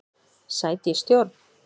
Sæti í stjórn?